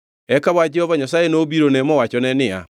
Eka wach Jehova Nyasaye nobirone mowachone niya,